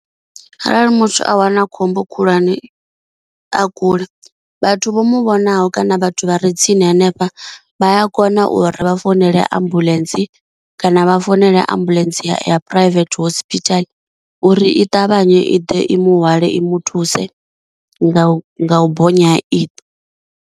Arali muthu a wana khombo khulwane a kule, vhathu vho mu vhonaho kana vhathu vha re tsini hanefha vhaya kona uri vha founele ambuḽentse, kana vha founela ambuḽentse ya private hospital uri i ṱavhanye i ḓe i muhwale i muthuse nga u u bonya iṱo.